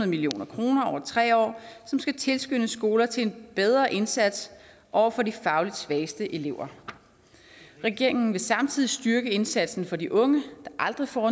million kroner over tre år som skal tilskynde skoler til en bedre indsats over for de fagligt svageste elever regeringen vil samtidig styrke indsatsen for de unge der aldrig får